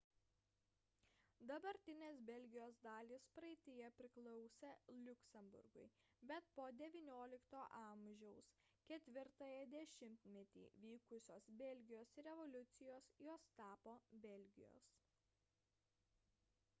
dabartinės belgijos dalys praeityje priklausė liuksemburgui bet po xix a 4-ąjį dešimtmetį vykusios belgijos revoliucijos jos tapo belgijos